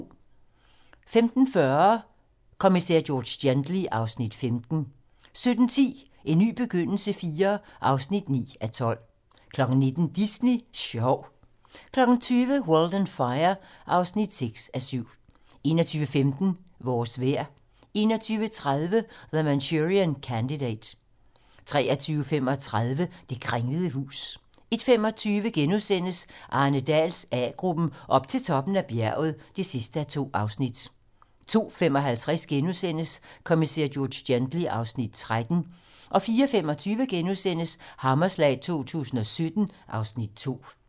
15:40: Kommissær George Gently (Afs. 15) 17:10: En ny begyndelse IV (9:12) 19:00: Disney Sjov 20:00: World on Fire (6:7) 21:15: Vores vejr 21:30: The Manchurian Candidate 23:35: Det kringlede hus 01:25: Arne Dahls A-gruppen: Op til toppen af bjerget (2:2)* 02:55: Kommissær George Gently (Afs. 13)* 04:25: Hammerslag 2017 (Afs. 2)*